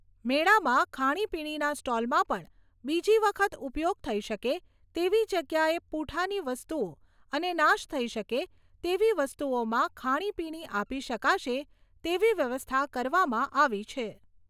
મેળામાં ખાણી પીણીના સ્ટોલમાં પણ બીજી વખત ઉપયોગ થઈ શકે તેવી જગ્યાએ પૂંઠાની વસ્તુઓ અને નાશ થઈ શકે તેવી વસ્તુમાં ખાણીપીણી આપી શકાશે તેવી વ્યવસ્થા કરવામાં આવી છે.